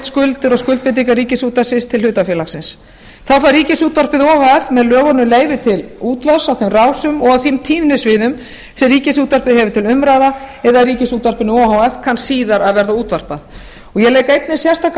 skuldir og skuldbreytingar ríkisútvarpið til hlutafélagsins þá fær ríkisútvarpið o h f með lögunum leyfi til útvarps á þeim rásum og á þeim tíðnisviðum sem ríkisútvarpið hefur til umráða eða ríkisútvarpinu o h f kann síðar að verða útvarpað ég legg einnig sérstaka